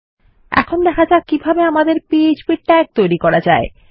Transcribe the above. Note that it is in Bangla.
এখন দেখা যাক কিভাবে আমাদের পিএচপি তাগ তৈরী করা যায়